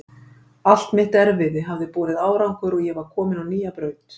Allt mitt erfiði hafði borið árangur og ég var komin á nýja braut.